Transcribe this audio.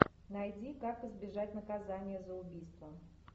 найди как избежать наказания за убийство